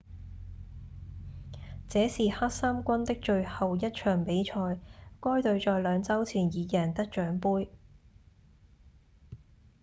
這是黑衫軍的最後一場比賽該隊在兩週前已贏得獎盃